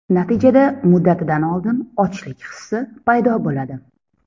Natijada muddatidan oldin ochlik hisi paydo bo‘ladi.